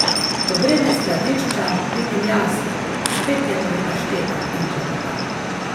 Ko grem iz skladišča, vidim Jasno, spet je pri paštetah in klepeta.